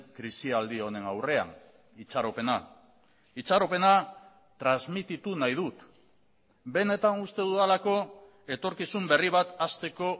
krisialdi honen aurrean itxaropena itxaropena transmititu nahi dut benetan uste dudalako etorkizun berri bat hasteko